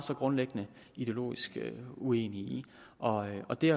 grundlæggende ideologisk uenige i og og det